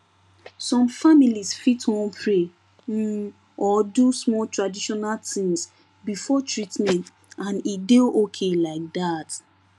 some families fit wan pray um or do small traditional things before treatment and e dey okay like that